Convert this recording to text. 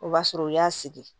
O b'a sɔrɔ u y'a sigi